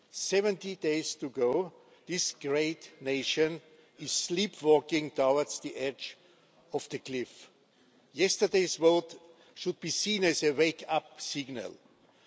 Seventy days to go this great nation is sleepwalking towards the edge of the cliff. Yesterday's vote should be seen as a wake up call.